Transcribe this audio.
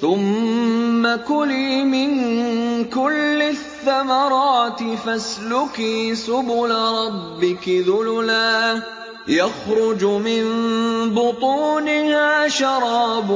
ثُمَّ كُلِي مِن كُلِّ الثَّمَرَاتِ فَاسْلُكِي سُبُلَ رَبِّكِ ذُلُلًا ۚ يَخْرُجُ مِن بُطُونِهَا شَرَابٌ